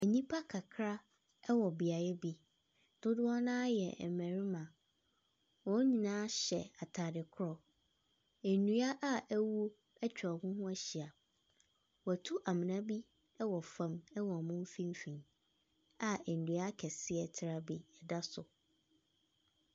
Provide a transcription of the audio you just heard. Nnipa kakra wɔ beaeɛ bi, dodoɔ no ara yɛ mmarima, wɔn nyinaa hyɛ ataade korɔ, nnua aawuo atwa wɔn ho ahyia. Wɔatu amona bi wɔ fam wɔ wɔn mfimfin a dua kɛseɛ traa bi da so.